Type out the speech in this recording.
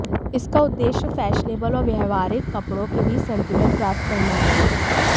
इसका उद्देश्य फैशनेबल और व्यावहारिक कपड़ों के बीच संतुलन प्राप्त करना है